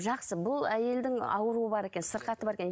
жақсы бұл әйелдің ауруы бар екен сырқаты бар екен